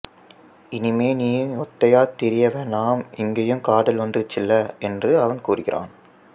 இனிமே நீ ஒத்தையாத் திரியவேணாம் இங்கேயும் காதல் வந்திருச்சுல்ல என்று அவன் கூறுகிறான்